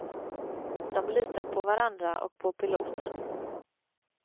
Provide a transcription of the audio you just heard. De litar på varandra och på piloten.